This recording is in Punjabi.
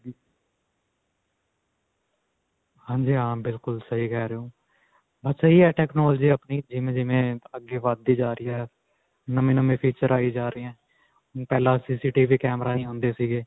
ਹਾਂਜੀ ਹਾਂ ਬਿਲਕੁਲ ਸਹੀ ਕਿਹ ਰਹੇ ਹੋ. ਬਸ ਇਹੀ ਹੈ technology ਆਪਣੀ ਜਿਵੇਂ-ਜਿਵੇਂ ਅੱਗੇ ਵਧਦੀ ਜਾ ਰਹੀ ਹੈ. ਨਵੇਂ-ਨਵੇਂ feature ਆਈ ਜਾਂ ਰਹੇ ਹੈ. ਪਹਿਲਾਂ CCTV camera ਨਹੀਂ ਹੁੰਦੇ ਸੀਗੇ.